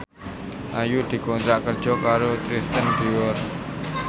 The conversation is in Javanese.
Ayu dikontrak kerja karo Christian Dior